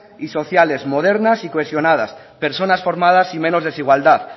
y sociales modernas y cohesionadas personas formadas y menos desigualdad